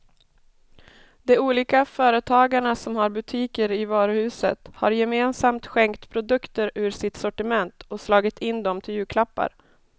De olika företagarna som har butiker i varuhuset har gemensamt skänkt produkter ur sitt sortiment och slagit in dem till julklappar.